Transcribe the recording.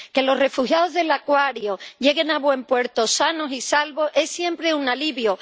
Que los refugiados del Aquarius lleguen a buen puerto sanos y salvos es siempre un alivio.